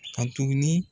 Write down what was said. Ka tuguni